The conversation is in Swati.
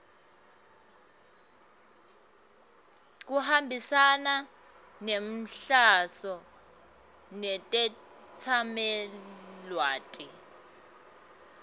kuhambisana nenhloso netetsamelilwati